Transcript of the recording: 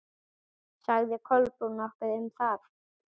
Sagði Kolbrún nokkuð um það?